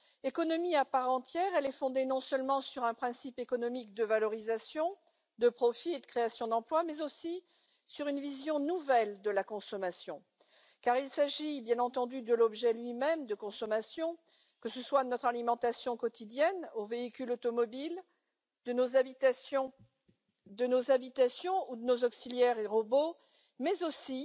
Économie à part entière, elle est fondée non seulement sur un principe économique de valorisation, de profits et de création d'emplois, mais aussi sur une vision nouvelle de la consommation, car il s'agit bien entendu de l'objet lui même de consommation, de notre alimentation quotidienne aux véhicules automobiles, en passant par nos habitations ou nos auxiliaires et robots, mais aussi